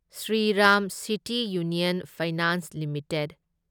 Shriram city union finance limited